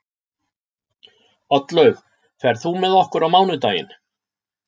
Oddlaug, ferð þú með okkur á mánudaginn?